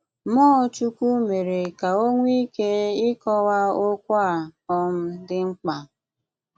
Mmụọ̀ Chukwù mere ka ò nwee ike ị́kọ́wa okwù a um dị̀ mkpa